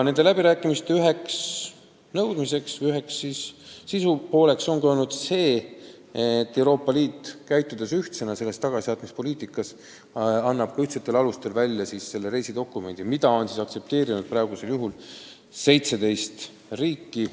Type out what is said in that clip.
Üks nõudmine või sisupool nendel läbirääkimistel on olnud see, et Euroopa Liit käitub tagasisaatmispoliitikat ellu viies ühtsena ja annab ühtsetel alustel välja ka selle reisidokumendi, mida on praeguseks aktsepteerinud 17 riiki.